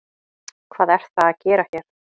Hvað er það að gera hér?